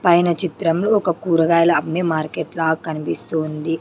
పైన చిత్రంలో ఒక కూరగాయల అమ్మే మార్కెట్ లాగ్ కనిపిస్తూ ఉంది.